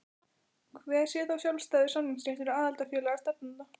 Hver sé þá sjálfstæður samningsréttur aðildarfélaga stefnanda?